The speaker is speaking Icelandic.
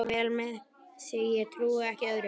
Fer vel með sig, ég trúi ekki öðru.